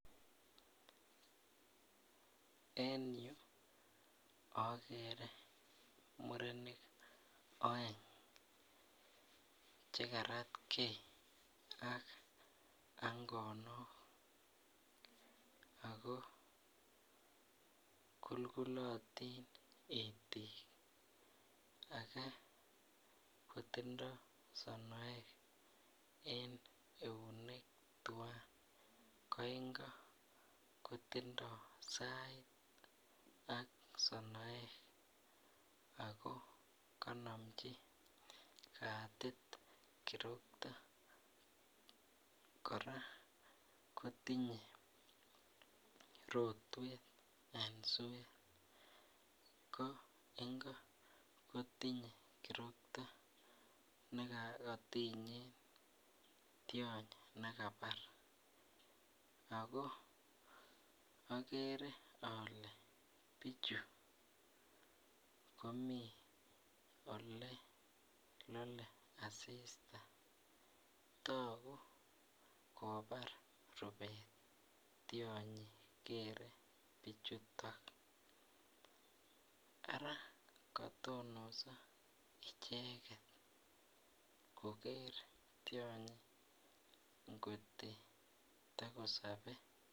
En yu akere murenik aeng chekaratge ak angonok ,ako kulkulotin itik ,ake kotindoo sonoek en eunek tuwan ,ko ingo kotindoo sait ak sonoek ako konomji katit kiroktoo kora kotinye rotwet en suet, ko ingo kotinye kirokto nekotinyee tiony nekabar, ako akere alee bichu komii olelole asista toku kobar rubet tionyi kere bichuto, ara katonos icheket koker tionyito ngoto tokosobee.